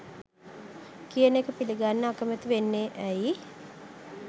කියන එක පිළිගන්න අකමැති වෙන්නේ ඇයි